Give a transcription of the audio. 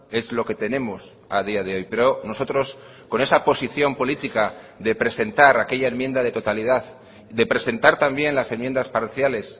es lo que tenemos a día de hoy pero nosotros con esa posición política de presentar aquella enmienda de totalidad de presentar también las enmiendas parciales